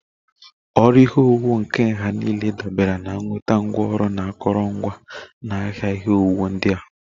Ọrụ ihe owuwu nke nha niile dabere na nnweta ngwaọrụ na akụrụngwa na ahịa ihe owuwu ndị a